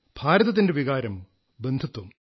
ഭാരതത്തിന്റെ വികാരം ബന്ധുത്വം